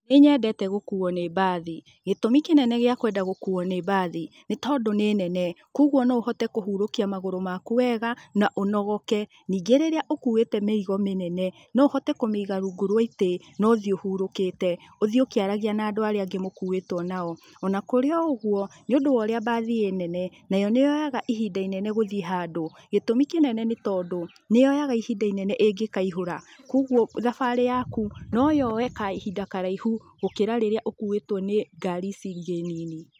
Nĩnyendete gũkuo nĩ mbathi. Gĩtũmi kĩnene gĩa kwenda gũkuo nĩ mbathi nĩtondũ nĩ nene, koguo no ũhote kũhurũkia magũrũ maku weega na ũnogoke. Ningĩ rĩrĩa ũkũĩte mĩrigo mĩnene, no ũhote kũmĩiga rungu rwa itĩ, no ũthiĩ ũhurũkĩte, ũthiĩ ũkĩaragia na andũ arĩa angĩ mũkuĩtwo nao. Ona kũrĩ o ũguo, nĩũndũ wa ũrĩa mbathi ĩ nene, nayo nĩyoyaga ihinda inene gũthiĩ handũ, gĩtũmi kĩnene nĩ tondũ, nĩyoyaga ihinda inene ĩngĩkaihũra, koguo thabarĩ yaku noyoye kahinda karaihu gũkĩra rĩrĩa ũkũĩtwo nĩ ngari ici ingĩ nini.